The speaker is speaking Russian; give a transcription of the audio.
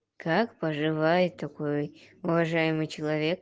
как поживает такой уважаемый человек